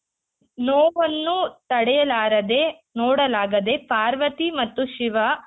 ನೋವನ್ನು ತಡೆಯಲಾರದೆ ನೋಡಲಾಗದೆ ಪಾರ್ವತಿ ಮತ್ತು ಶಿವ